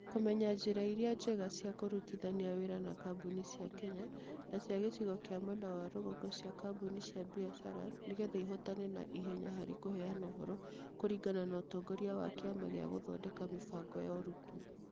Kũmenya njĩra iria njega cia kũrutithania wĩra na kambuni cia Kenya na cia gĩcigo kĩa mwena wa rũgongo cia kambuni cia biacara nĩgetha ihotane na ihenya harĩ kũheana ũhoro kũringana na ũtongoria wa Kĩama gĩa gũthondeka mĩbango ya arutwo.